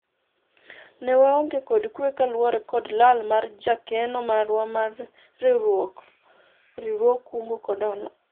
ne waonge kod kwe kaluwore kod lal mar jakeno marwa mar riwruog kungo kod hola